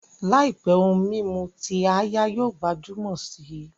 Làìpé, ohun mímu ti áyá yóò gbajúmọ̀ si